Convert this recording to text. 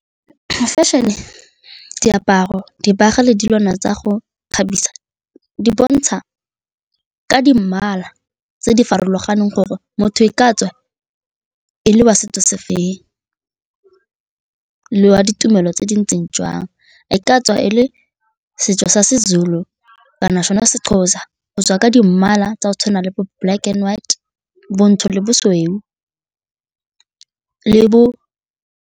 Fashion-e, diaparo, dibaga le dilwana tsa go ikgabisa di bontsha ka di mmala tse di farologaneng gore motho e ka tswa e le wa setso se feng le wa ditumelo tse dintseng jwang. E ka tswa e le setso sa Sezulu, kana sona Sexhosa, o tswa ka di mmala tsa go tshwana le bo-black and white, bontsho le bosweu le bo.